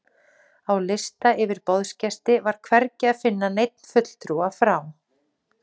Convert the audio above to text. Á lista yfir boðsgesti var hvergi að finna neinn fulltrúa frá